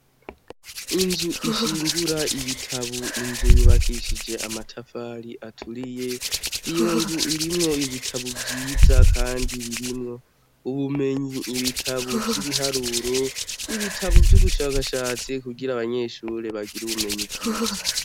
Inzu ishingura ibitabo. Inzu yubakishije amatafari aturiye, iyo nzu irimwo ibitabo vyiza kandi birimwo ubumenyi. Ibitabo vy'ibiharuro, ibitabo vy'ubushakashatsi kugira abanyeshure bagire ubumenyi bwiza.